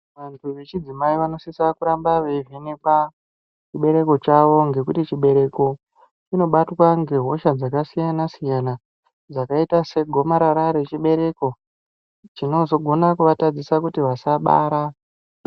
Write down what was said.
Antu vechidzimai vanosisa kuramba veivhenekwa chibereko chawo ngekuti chibereko chinobatwa ngehosha dzakasiyana siyana dzakaita segomarara rechibereko chinozogona kuvatadzisa kuti vasabara.